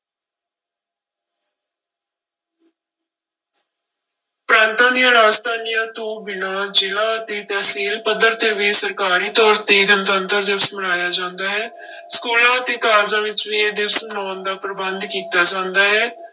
ਪ੍ਰਾਂਤਾਂ ਦੀਆਂ ਰਾਜਧਾਨੀਆਂ ਤੋਂ ਬਿਨਾਂ ਜ਼ਿਲ੍ਹਾ ਅਤੇ ਤਹਿਸੀਲ ਪੱਧਰ ਤੇ ਵੀ ਸਰਕਾਰੀ ਤੌਰ ਤੇ ਗਣਤੰਤਰ ਦਿਵਸ ਮਨਾਇਆ ਜਾਂਦਾ ਹੈ ਸਕੂਲਾਂ ਅਤੇ ਕਾਲਜਾਂ ਵਿੱਚ ਵੀ ਇਹ ਦਿਵਸ ਮਨਾਉਣ ਦਾ ਪ੍ਰਬੰਧ ਕੀਤਾ ਜਾਂਦਾ ਹੈ।